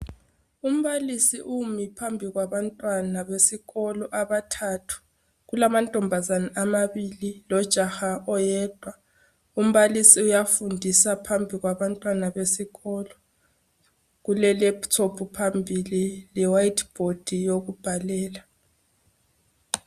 Umbalisi umi phambi kwabantwana besikolo abathathu, kulamantombazana amabili lo jaha oyedwa umbalisi uyafundisa phambi kwabantwana besikolo kule lephuthophu phambili le wayithi bhodi yokubhalela.